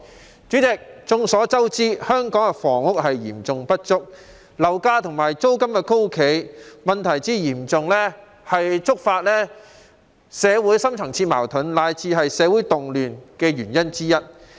代理主席，眾所周知，香港的房屋供應嚴重不足，樓價和租金高企問題嚴重，觸發社會深層次矛盾，乃至社會動亂的原因之一。